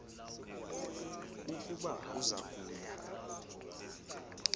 ukuba uza kuya